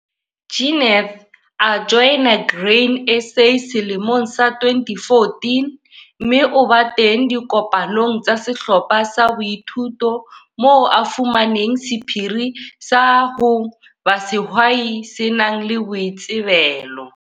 Jeneth a joina Grain SA selemong sa 2014, mme o ba teng dikopanong tsa sehlopha sa boithuto moo a fumaneng sephiri sa ho ba sehwai se nang le boitsebelo.